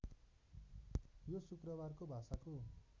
यो शुक्रबारको भाषाको